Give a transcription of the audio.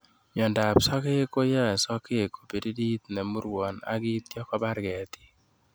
Miondab sokek koyoe sokek kobiririt nemurwon ak kityo kobar ketit